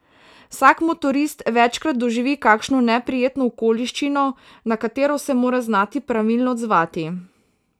Vsak motorist večkrat doživi kakšno neprijetno okoliščino, na katero se mora znati pravilno odzvati.